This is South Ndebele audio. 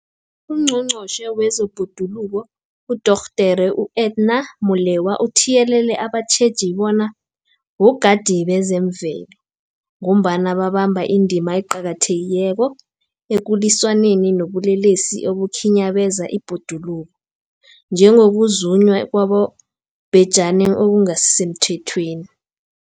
UNgqongqotjhe wezeBhoduluko uDorh Edna Molewa uthiyelele abatjheji bona bogadi bezemvelo, ngombana babamba indima eqakathekileko ekulwisaneni nobulelesi obukhinyabeza ibhoduluko, njengokuzunywa kwabobhejani okungasisemthethweni.